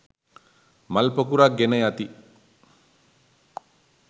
මල් පොකුරක් ගෙන යති.